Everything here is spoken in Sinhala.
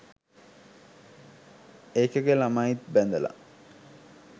ඒකගෙ ළමයිත් බැඳල